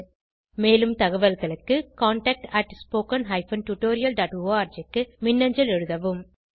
மேலும் தகவல்களுக்கு contactspoken tutorialorg க்கு மின்னஞ்சல் எழுதவும்